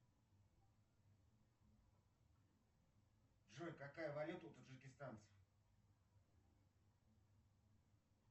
джой какая валюта у таджикистанцев